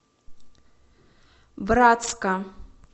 братска